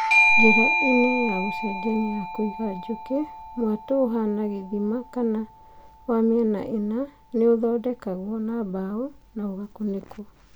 Njĩra-inĩ ya gũcenjania ya kũiga njũkĩ, mwatũ ũhana gĩthima kana wa mĩena ĩna nĩũthondekagwo na mbaũ na ũgakunikwo